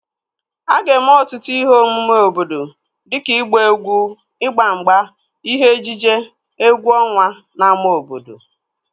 A ga-eme ọtụtụ ihe omume obodo dịka ịgba egwu, ịgba mgba, ihe ejije, egwu ọnwa n'ámá obodo